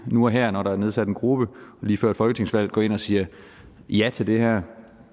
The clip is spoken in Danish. nu og her når der er nedsat en gruppe lige før et folketingsvalg går ind og siger ja til det her